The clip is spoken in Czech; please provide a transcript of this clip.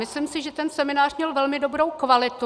Myslím si, že ten seminář měl velmi dobrou kvalitu.